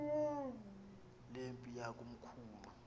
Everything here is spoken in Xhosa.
le mpi yakomkhulu